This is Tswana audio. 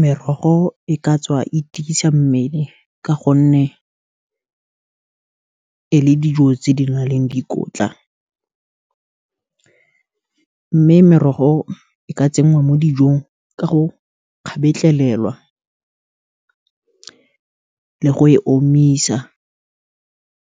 Merogo e ka tswa itiisa mmele, ka gonne, e na le dijo tse di naleng dikotla, mme merogo e ka tsenngwa mo dijong ka go kgabetlhelelwa, le go e omisa,